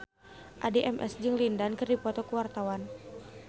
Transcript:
Addie MS jeung Lin Dan keur dipoto ku wartawan